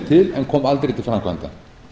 en koma aldrei til framkvæmda